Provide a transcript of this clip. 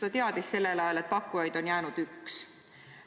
Ta teadis sellel ajal, et pakkujaid on jäänud üks.